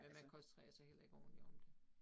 Men man koncentrerer sig heller ikke ordentligt om det